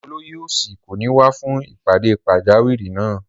Olóyè òsì kò ní wá fún ìpàdé pàjáwìrì náà